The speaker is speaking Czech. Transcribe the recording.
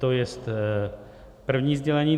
To je první sdělení.